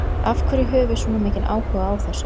Af hverju höfum við svona mikinn áhuga á þessu?